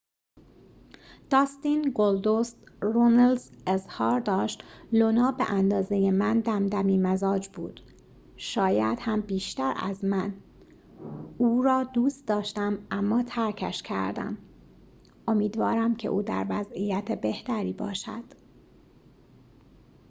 داستین گلدوست رونلز اظهار داشت لونا به اندازه من دمدمی‌مزاج بود شاید هم بیشتر از من او را دوست داشتم اما ترکش کردم امیدوارم که او در وضعیت بهتری باشد